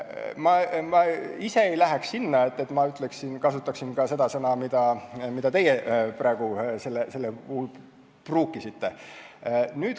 Ma ise küll ei kasutaks ka seda sõna, mida teie praegu sellel puhul pruukisite.